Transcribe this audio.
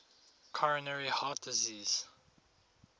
coronary heart disease